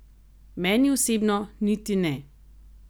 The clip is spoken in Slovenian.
Meni osebno niti ne.